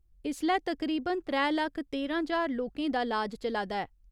इसलै तकरीबन त्रै लक्ख तेरां ज्हार लोकें दा इलाज चला दा ऐ।